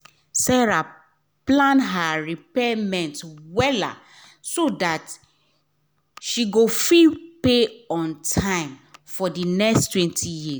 sarah plan her repayment well so that she go fit pay on time for the nexttwentyyears